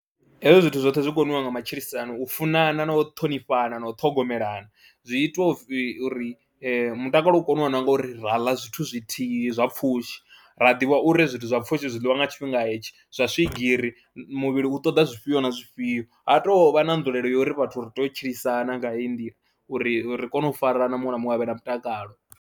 Hezwi zwithu zwoṱhe zwi koniwa nga matshilisano u funana na u ṱhonifhana na u ṱhogomelana zwi itwa u pfhi uri mutakalo u koniwa na ngori ra ḽa zwithu zwithihi zwa pfhushi, ra ḓivha uri zwithu zwa pfhushi zwi ḽiwa nga tshifhinga hetshi, zwa swigiri muvhili u ṱoḓa zwifhio na zwifhio, ha tou vha na nzulelo uri vhathu ri tea u tshilisana nga heyi nḓila uri ri kone u fara na muṅwe na muṅwe a vhe na mutakalo.